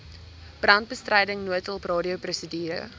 brandbestryding noodhulp radioprosedure